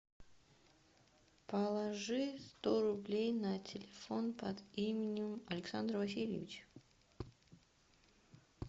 положи сто рублей на телефон под именем александр васильевич